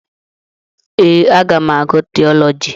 Ee, aga m agụ tiiọlọji.